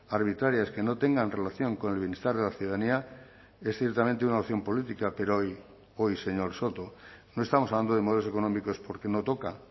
arbitrarias que no tengan relación con el bienestar de la ciudadanía es ciertamente una opción política pero hoy hoy señor soto no estamos hablando de modelos económicos porque no toca